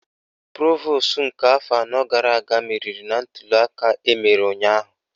Provosu nke afọ anọ gara aga meriri na ntuliaka emere ụnyaahụ